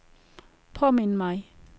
påmind mig